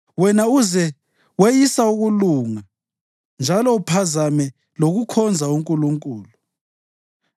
Wena uze weyise ukulunga njalo uphazame lokukhonza uNkulunkulu.